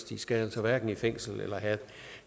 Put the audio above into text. de skal altså hverken i fængsel eller have